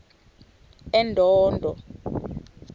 endondo